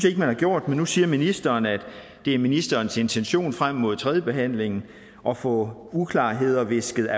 ikke man har gjort men nu siger ministeren at det er ministerens intention frem mod tredjebehandlingen at få uklarheder visket